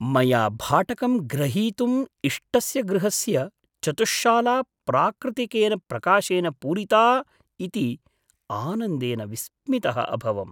मया भाटकं ग्रहीतुं इष्टस्य गृहस्य चतुश्शाला प्राकृतिकेन प्रकाशेन पूरिता इति आनन्देन विस्मितः अभवम्।